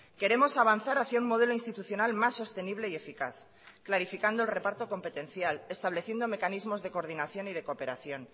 queremos avanzar hacia un modelo institucional más sostenible y eficaz clarificando el reparto competencial estableciendo mecanismos de coordinación y de cooperación